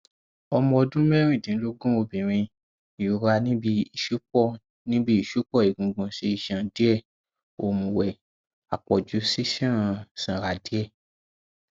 ọmọ ọdún mẹrìndínlógún obìnrin ìrora níbi ìṣùpọ níbi ìṣùpọ egungun sí iṣan díẹ òmùwẹ àpọjù sísan sanra díẹ